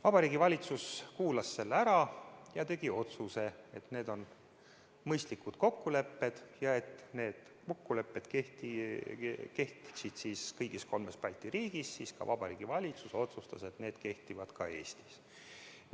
Vabariigi Valitsus kuulas selle ära ja tegi otsuse, et need on mõistlikud kokkulepped, ja et need kokkulepped kehtiksid kõigis kolmes Balti riigis, siis Vabariigi Valitsus otsustas, et need kehtivad ka Eestis.